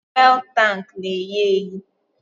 Fụ́élú tanku na-ehị ehị